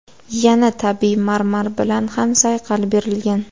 Yana tabiiy marmar bilan ham sayqal berilgan.